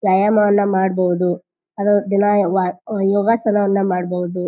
ವ್ಯಾಯಾಮವನ್ನು ಮಾಡಬಹುದು ಆದ್ರೆ ದಿನ ವಾ ಯಾ ಯೋಗಾಸನವನ್ನು ಮಾಡಬಹುದು.